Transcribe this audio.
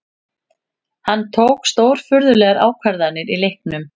Hann tók stórfurðulegar ákvarðanir í leiknum